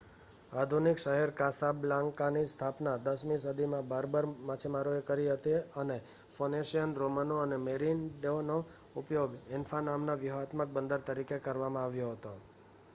આધુનિક શહેર કાસાબ્લાન્કાની સ્થાપના 10મી સદીમાં બર્બર માછીમારોએ કરી હતી, અને ફોનિશિયન રોમનો અને મેરિનિડનો ઉપયોગ એન્ફા નામના વ્યૂહાત્મક બંદર તરીકે કરવામાં આવ્યો હતો